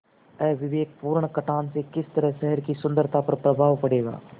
अविवेकपूर्ण कटान से किस तरह शहर की सुन्दरता पर प्रभाव पड़ेगा